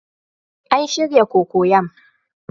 An shirya cocoyam